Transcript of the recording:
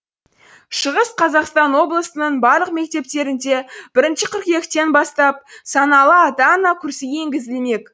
шығыс қазақстан облысының барлық мектептерінде бірінші қыркүйектен бастап саналы ата ана курсы енгізілмек